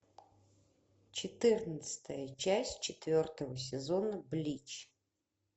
четырнадцатая часть четвертого сезона блич